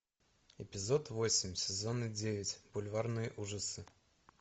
эпизод восемь сезона девять бульварные ужасы